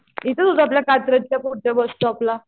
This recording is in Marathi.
इथेच होत आपल्या कात्रजच्या पुढच्या बस स्टोपला.